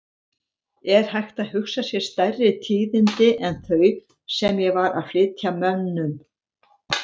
Er hægt að hugsa sér stærri tíðindi en þau sem ég var að flytja mönnum?!